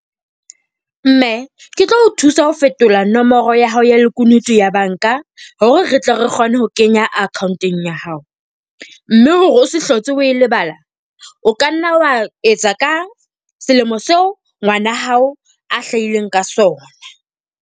Mme, ke tlo o thusa ho fetola nomoro ya hao ya lekunutu ya banka hore re tle re kgone ho kenya account-eng ya hao. Mme hore o se hlotse o e lebala, o ka nna wa etsa ka selemo seo ngwana hao a hlahileng ka sona.